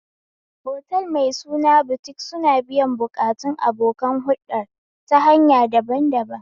Otal mai suna Butik suna biyan buƙatun abokan huɗɗar ta hanya daban daban